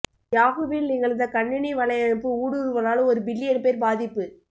யாஹூவில் நிகழ்ந்த கணினி வலையமைப்பு ஊடுருவலால் ஒரு பில்லியன் பேர் பாதிப்பு